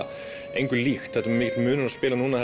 engu líkt það er mikill munur að spila núna